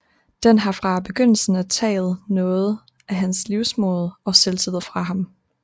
Den har fra begyndelsen af taget noget af hans livsmod og selvtillid fra ham